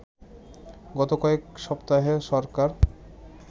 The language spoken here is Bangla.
গত কয়েক সপ্তাহে সরকার